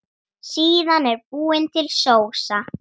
Síðan er búin til sósa.